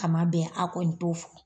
A man bɛn a kɔni t'o fɔ.